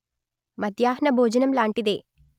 మధ్యాహ్న భోజనం లాంటిదే